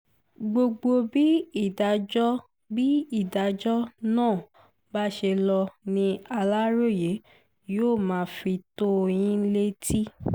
gbogbo bí ìdájọ́ bí ìdájọ́ náà bá ṣe lọ ni aláròye yóò máa fi tó yín létí